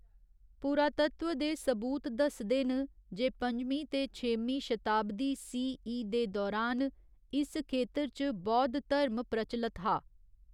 पुरातत्व दे सबूत दस्सदे न जे पंञमीं ते छेमीं शताब्दी सी.ई दे दौरान इस खेतर च बौद्ध धर्म प्रचलत हा।